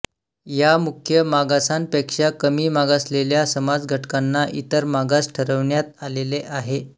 या मुख्य मागासांपेक्षा कमी मागासलेल्या समाजघटकांना इतर मागास ठरविण्यात आलेले आहे